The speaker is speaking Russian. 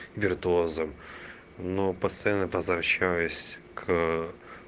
виртуозом но постоянно возвращаюсь к